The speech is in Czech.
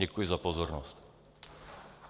Děkuji za pozornost.